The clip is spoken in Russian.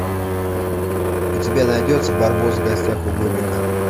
у тебя найдется барбос в гостях у бобика